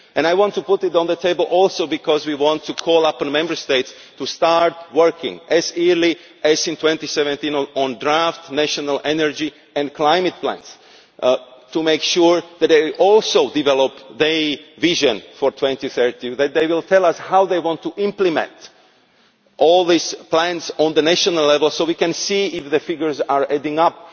I want to put it on the table also because we want to call upon Member States to start working as early as 2017 on draft national energy and climate plans, to make sure that they also develop their vision for 2030 and that they will tell us how they want to implement all these plans at national level, so we can see if the figures are adding